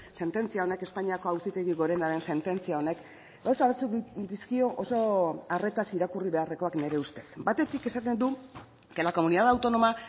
sententzia honek espainiako auzitegi gorenaren sententzia honek gauza batzuk dizkio oso arretaz irakurri beharrekoak nire ustez batetik esaten du que la comunidad autónoma